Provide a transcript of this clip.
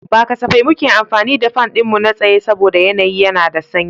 Ba safai muke amfani da fan ɗinmu na tsaye saboda yanayi yana da sanyi.